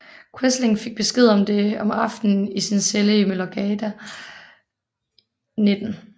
Quisling fik besked om det om aftenen i sin celle i Møllergata 19